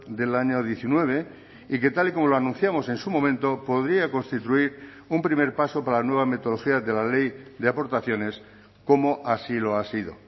del año diecinueve y que tal y como lo anunciamos en su momento podría constituir un primer paso para la nueva metodología de la ley de aportaciones como así lo ha sido